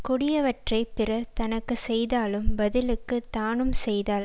கொடியவற்றைப் பிறர் தனக்கு செய்தாலும் பதிலுக்குத் தானும் செய்தால்